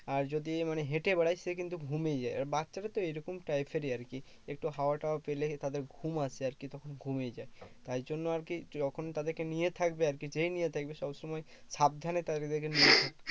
আর যদি মানে হেটে বেড়ায় সে কিন্তু ঘুমিয়ে যায় আর বাচ্ছাদের তো এই রকম types এরই আর কি একটু হাওয়া টাওয়া পেলেই তাদের ঘুম আসে আর কি তখন ঘুমিয়ে যায় তাই জন্য আর কি যখন তাদেরকে নিয়ে থাকবে আর কি, যেই নিয়ে থাকবে সব সময় সাবধানে তাদের কে